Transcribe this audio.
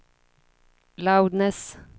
loudness